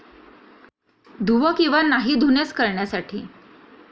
धुवा किंवा नाही धुण्यास करण्यासाठी